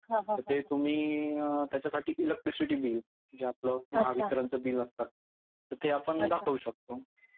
ते तुम्ही त्याच्यासाठी इलेक्ट्रिसिटी बिल म्हणजे आपलं म्हणजे आपलं महावितरण बिल असतं तर ते आपण दाखवू शकतो.